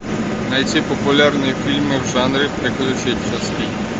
найти популярные фильмы в жанре приключенческий